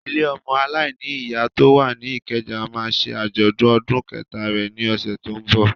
Ilé ọmọ aláìní ìyá tó wà ní Ìkẹjà máa ṣe àjọ̀dún ọdún kẹta rẹ̀ ni ọ̀sẹ̀ tó ń bọ̀.